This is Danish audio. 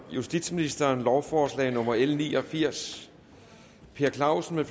justitsministeren lovforslag nummer l ni og firs per clausen